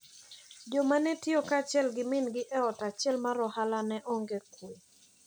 Jomanetiyo kaachiel gi min gi e ot achiel mar ohala ne onge kwe.